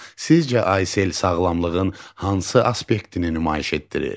Sizcə Aysel sağlamlığın hansı aspektini nümayiş etdirir?